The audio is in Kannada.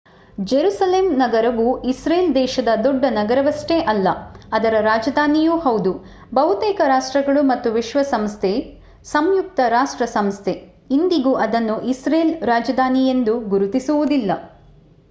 ಜೆರುಸೆಲಂ ನಗರವು ಇಸ್ರೇಲ್ ದೇಶದ ದೊಡ್ಡ ನಗರವಷ್ಟೇ ಅಲ್ಲ ಅದರ ರಾಜಧಾನಿಯೂ ಹೌದು. ಬಹುತೇಕ ರಾಷ್ಟ್ರಗಳು ಮತ್ತು ವಿಶ್ವಸಂಸ್ಥೆ ಸಂಯುಕ್ತ ರಾಷ್ಟ್ರ ಸಂಸ್ಥೆ ಇಂದಿಗೂ ಅದನ್ನು ಇಸ್ರೇಲ್ ರಾಜಧಾನಿಯೆಂದು ಗುರುತಿಸುವುದಿಲ್ಲ